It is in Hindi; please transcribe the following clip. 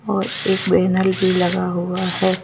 और एक बैनल भीलगा हुआ है।